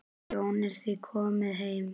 Jón er því kominn heim.